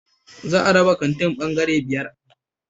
Za a raba kantin bangare biyar